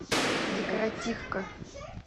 декоративка